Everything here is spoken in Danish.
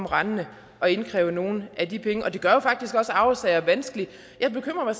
rendende og indkræver nogle af de penge og det gør jo faktisk også arvesager vanskelige jeg bekymrer mig